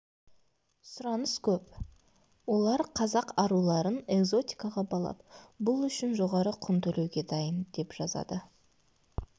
сұраныс көп олар қазақ аруларын экзотикаға балап бұл үшін жоғары құн төлеуге дайын деп жазады